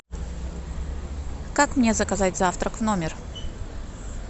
как мне заказать завтрак в номер